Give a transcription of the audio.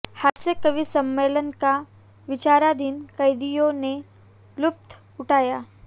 हास्य कवि सम्मेलन का विचाराधीन कैदियों ने लुत्फ उठाया